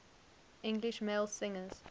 english male singers